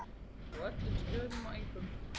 Á öllum stöðum og engum.